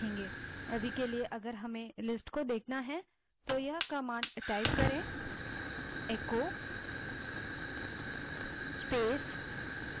अभी के लिए यदि हमें इस list को देखना है तो केवल echo space dollar path command type करें